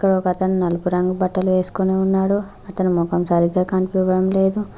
ఇక్కడ ఒక అతను నలుపు రంగు బట్టలు వేసుకొని ఉన్నాడు అతను మొఖం సరిగ్గా కనిపియడం లేదు.